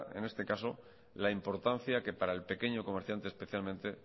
en este caso la importancia que para el pequeño comerciante especialmente